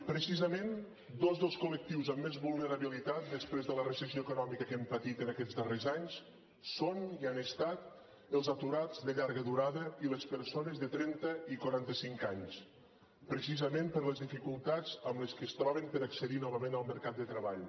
precisament dos dels col·lectius amb més vulnerabilitat després de la recessió econòmica que hem patit en aquests darrers anys són i han estat els aturats de llarga durada i les persones de trenta i quaranta cinc anys precisament per les dificultats amb què es troben per accedir novament al mercat de treball